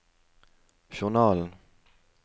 journalen